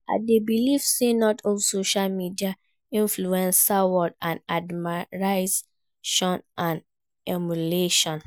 I dey believe say not all social media influencers worth our admiration and emulation.